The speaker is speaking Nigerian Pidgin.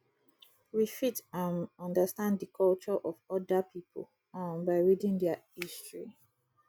we fit um understand di culture of oda pipo um by reading their history